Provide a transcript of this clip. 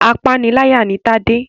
Apániláyà ni Tade.